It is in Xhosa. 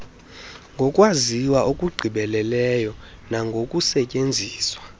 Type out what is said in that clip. ngokwaziwa okugqibeleleyo nangokusetyenziswa